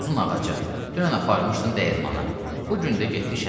Uzun ağaca, dünən aparmışdım dəyirmana, bu gün də getdi şəhərə.